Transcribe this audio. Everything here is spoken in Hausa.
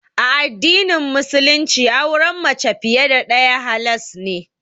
A addinin Musulunci auren mace fiye da ɗaya halas ne.